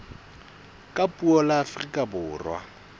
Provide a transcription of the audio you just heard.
ka puo la afrika borwa